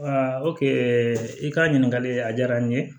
i ka ɲininkali a diyara n ye